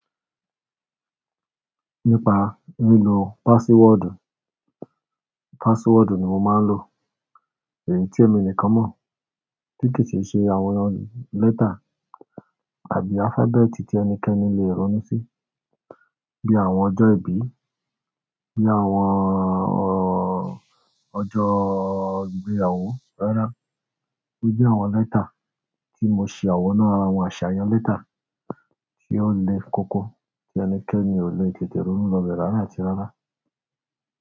Nípa lílo passwordu. Password ni mo máa ń lò, èyí tí èmi nìkan mọ̀. Tí kí sì ṣe àwọn letter àbí alphabeti tí ẹnikẹ́ni lè ronú sí. Bí àwọn ọjọ́ ìbí, bí àwọn ọ̀, ọjọ́ ìgbéyàwó rárá. Bí àwọn lẹ́tà, tí mo ṣá wo nu ara wọn, àṣàyàn lẹ́tà, tí o lè kókó, tí ẹnikẹ́ni o lè tètè ronú lọ be rárá àti rárá.